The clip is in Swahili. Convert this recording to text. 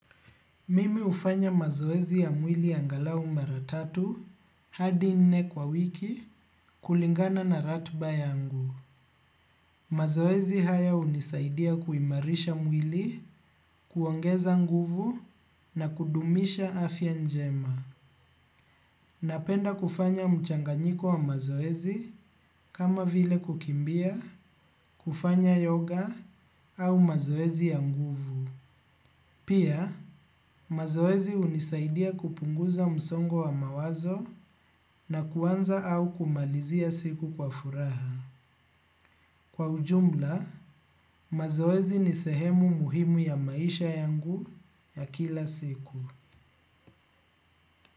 Mimi hufanya mazoezi ya mwili angalau mara tatu hadi nne kwa wiki kulingana na ratiba yangu. Mazoezi haya hunisaidia kuimarisha mwili, kuongeza nguvu na kudumisha afya njema. Napenda kufanya mchanganyiko wa mazoezi kama vile kukimbia, kufanya yoga au mazoezi ya nguvu. Pia, mazoezi hunisaidia kupunguza msongo wa mawazo na kuanza au kumalizia siku kwa furaha. Kwa ujumla, mazoezi ni sehemu muhimu ya maisha yangu ya kila siku.